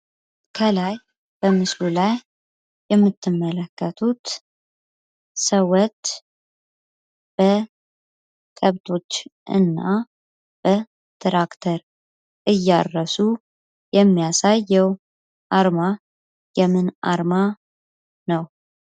ከላይ በምስሉ ላይ እንደምትመለከቱት ሰዎች በከብት እና በትራክተር እያረሱ የሚያሳየው አርማ የምን አርማ ነው?